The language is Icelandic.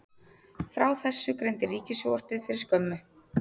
Frá þessu greindi Ríkissjónvarpið fyrir skömmu